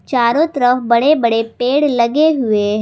चारों तरफ बड़े बड़े पेड़ लगे हुए हैं।